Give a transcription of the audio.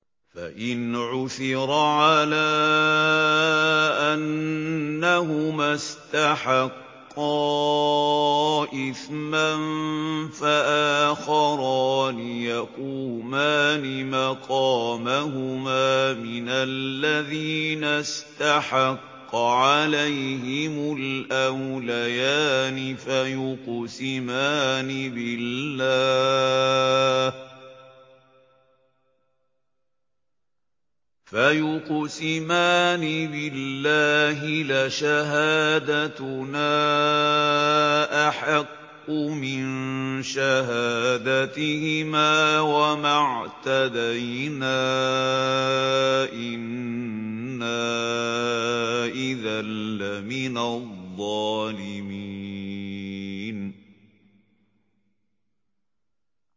فَإِنْ عُثِرَ عَلَىٰ أَنَّهُمَا اسْتَحَقَّا إِثْمًا فَآخَرَانِ يَقُومَانِ مَقَامَهُمَا مِنَ الَّذِينَ اسْتَحَقَّ عَلَيْهِمُ الْأَوْلَيَانِ فَيُقْسِمَانِ بِاللَّهِ لَشَهَادَتُنَا أَحَقُّ مِن شَهَادَتِهِمَا وَمَا اعْتَدَيْنَا إِنَّا إِذًا لَّمِنَ الظَّالِمِينَ